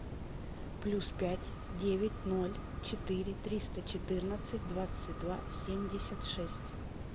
плюс пять девять ноль четыре триста четырнадцать двадцать два семьдесят шесть